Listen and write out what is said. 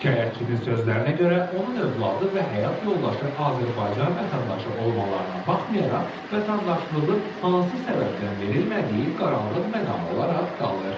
Şikayətçinin sözlərinə görə, onun övladı və həyat yoldaşı Azərbaycan vətəndaşı olmalarına baxmayaraq, vətəndaşlığın hansı səbəbdən verilmədiyi qaranlıq məqam olaraq qalır.